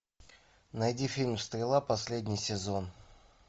найди фильм стрела последний сезон